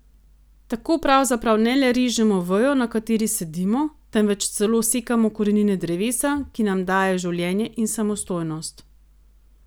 Tako pravzaprav ne le režemo vejo, na kateri sedimo, temveč celo sekamo korenine drevesa, ki nam daje življenje in samostojnost.